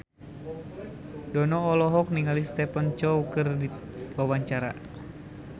Dono olohok ningali Stephen Chow keur diwawancara